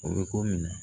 O bɛ ko min na